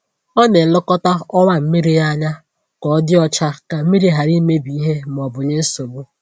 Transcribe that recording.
Ọ na-elekọta ọwa mmiri ya anya ka ọ dị ọcha ka mmiri ghara imebi ìhè ma ọ bụ nye nsogbu.